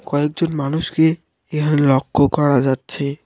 কয়েকজন মানুষকে এহানে লক্ষ্য করা যাচ্ছে।